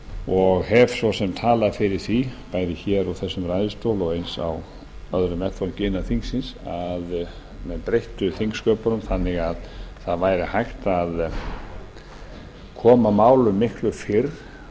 og hef svo sem talað fyrir því bæði hér úr þessum ræðustól og eins á öðrum vettvangi innan þingsins að menn breyttu þingsköpunum þannig að það væri hægt að koma málum málum miklu